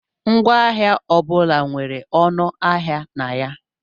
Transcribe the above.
Ngwaahịa ọ bụla nwere ọnụ ahịa na ya.